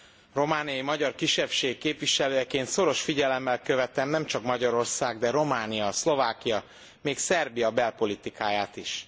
A romániai magyar kisebbség képviselőjeként szoros figyelemmel követem nemcsak Magyarország, de Románia, Szlovákia, még Szerbia belpolitikáját is.